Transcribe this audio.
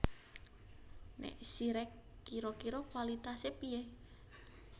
Nek Zyrex kiro kiro kualitase piye